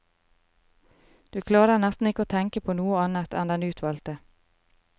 Du klarer nesten ikke å tenke på noe annet enn den utvalgte.